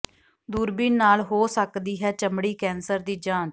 ਦੂਰਬੀਨ ਨਾਲ ਹੋ ਸਕਦੀ ਹੈ ਚਮੜੀ ਕੈਂਸਰ ਦੀ ਜਾਂਚ